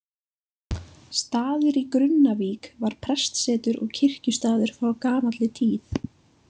Staður í Grunnavík var prestsetur og kirkjustaður frá gamalli tíð.